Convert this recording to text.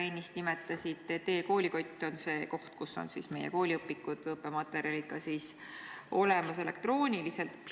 Te ennist nimetasite, et e-koolikott on see koht, kus on meie kooliõpikud ja muud õppematerjalid olemas ka elektrooniliselt.